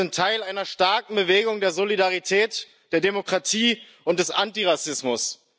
Wir sind Teil einer starken Bewegung der Solidarität, der Demokratie und des Antirassismus.